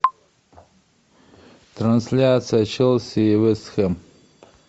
трансляция челси и вест хэм